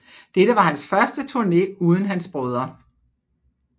Dette var hans første turne uden hans brødre